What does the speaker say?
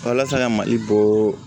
Walasa ka mali bɔ